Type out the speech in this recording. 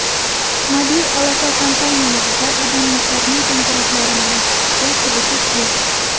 Mobil aloqa kompaniyalarida abonentlarning qo‘ng‘iroqlarini eshitishga qiziqish yo‘q.